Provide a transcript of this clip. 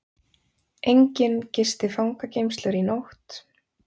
Enginn gisti fangageymslur í nótt